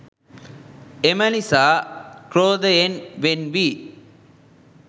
එම නිසා ක්‍රෝධයෙන් වෙන් වී